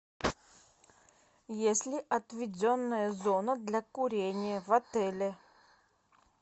есть ли отведенная зона для курения в отеле